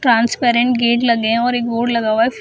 Transparent gate लगे है और एक बोर्ड लगा हुआ है।